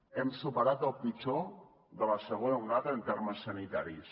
hem superat el pitjor de la segona onada en termes sanitaris